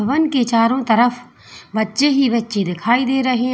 One के चारों तरफ बच्चे ही बच्चे दिखाई दे रहे हैं।